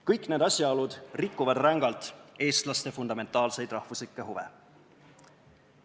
Kõik need asjaolud rikuvad rängalt eestlaste fundamentaalseid rahvuslikke huve.